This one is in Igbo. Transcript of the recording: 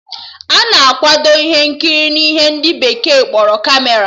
Ana akwado ihe nkiri n'ihe ndị bekee kpọrọ Kamera